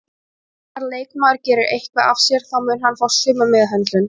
Ef annar leikmaður gerir eitthvað af sér þá mun hann fá sömu meðhöndlun